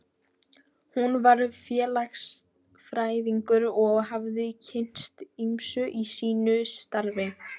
Hún var félagsfræðingur og hafði kynnst ýmsu í sínu starfi.